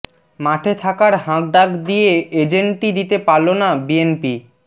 মাঠে থাকার হাঁকডাক দিয়ে এজেন্টই দিতে পারল না বিএনপি